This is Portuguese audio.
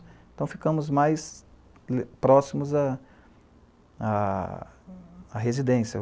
Então ficamos mais próximos à à à residência.